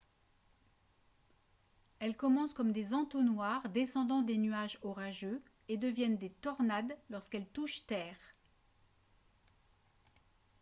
elles commencent comme des entonnoirs descendant des nuages orageux et deviennent des « tornades » lorsqu’elles touchent terre